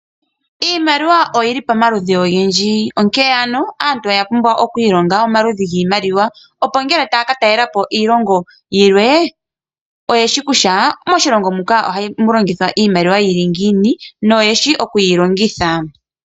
Iimaliwa oyi li pamaludhi ogendji, onkene aantu oya pumbwa oku ilonga omaludhi giimaliwa, opo ngele taya ka talela po iilongo yilwe oye shi kutya moshilongo moka ohamu longithwa iimaliwa ya tya ngiini noyeshi oku yi longitha.